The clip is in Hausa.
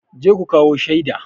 Je ku kawo shaida!